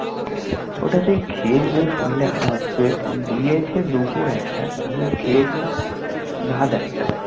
ওটা সেই খেয়েছি তুমি শুনলে হাসবে দিয়েছে দুপুর এক টায় আমি খেয়েছিলাম রাত এক টায়